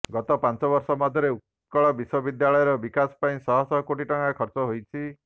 ଗତ ପାଞ୍ଚ ବର୍ଷ ମଧ୍ୟରେ ଉତ୍କଳ ବିଶ୍ୱବିଦ୍ୟାଳୟର ବିକାଶ ପାଇଁ ଶହ ଶହ କୋଟି ଟଙ୍କା ଖର୍ଚ୍ଚ ହୋଇଛି